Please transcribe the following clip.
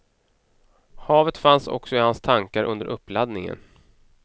Havet fanns också i hans tankar under uppladdningen.